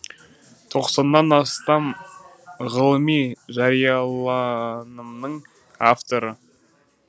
тоқсаннан астам ғылыми жарияланымның авторы